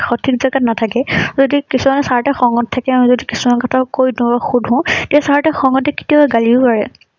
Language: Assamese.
সঠিক জাগাত নাথাকে। যদি কিছুমানে চাৰ সতে খঙত থাকে কিছুমান কথা কৈ দিও শুধু তেতিয়া চাৰ সতে খিঙতে গলিও পাৰে।